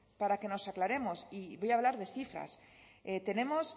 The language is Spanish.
para que nos aclaremos y voy a hablar de cifras tenemos